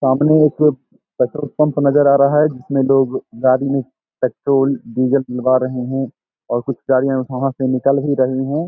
सामने एक petrol pump नजर आ रहा है जिसमें लोग गाड़ी में पेट्रोल डीजल डलवा रहे हैं और कुछ गाड़ियां वहाँ से निकल भी रही हैं।